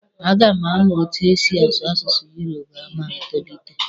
A ga m amụ etu e si asụ asụsụ yoroba ma m tolite.